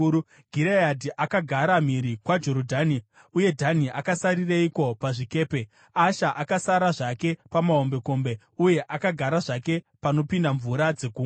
Gireadhi akagara mhiri kwaJorodhani. Uye Dhani akasarireiko pazvikepe? Asha akasara zvake pamahombekombe Uye akagara zvake panopinda mvura dzegungwa.